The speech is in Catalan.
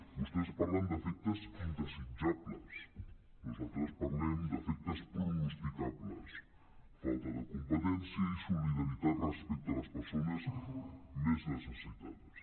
vostès parlen de efectes indesitjables nosaltres parlem de efectes pronosticables falta de competència i solidaritat respecte a les persones més necessitades